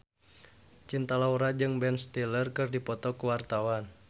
Cinta Laura jeung Ben Stiller keur dipoto ku wartawan